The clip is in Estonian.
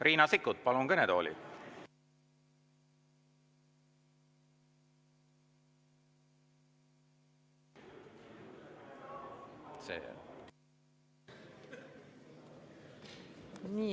Riina Sikkut, palun kõnetooli!